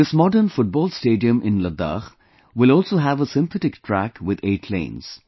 This modern football stadium in Ladakh will also have a synthetic track with 8 lanes